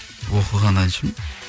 оқыған әншімін